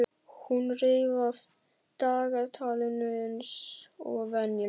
Hún reif af dagatalinu eins og venjulega.